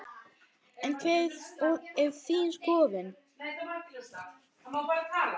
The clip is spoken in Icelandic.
En hver er þín skoðun?